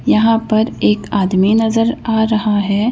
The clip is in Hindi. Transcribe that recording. यहां पर एक आदमी नजर आ रहा है।